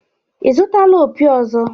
Ị zụtala opi ọzọ?